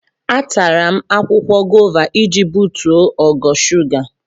Atara m akwụkwọ gova iji butuo ogo shuga.